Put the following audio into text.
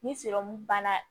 Ni banna